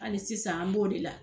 Ali sisan an b'o de la